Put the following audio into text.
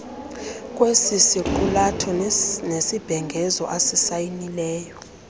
kwesisiqulatho nesibhengezo asisayinileyo